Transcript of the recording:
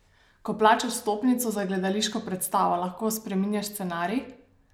Ko plačaš vstopnico za gledališko predstavo, lahko spreminjaš scenarij?